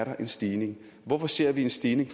er en stigning hvorfor ser vi en stigning